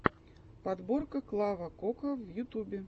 подборка клава кока в ютубе